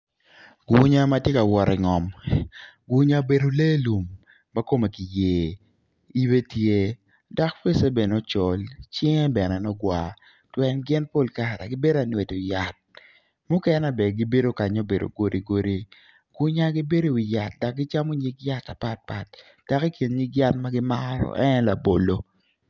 Gunya ma tye ka wot i ngom gunya obedo lee lum ma kome ki yer ibe tye dok fece col cinge bene nongo gwar pien pol kare gibedo ka nwedo yat mukenen bene gibedo ka ma obedo godigodi.